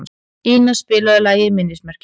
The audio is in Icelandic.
Ina, spilaðu lagið „Minnismerki“.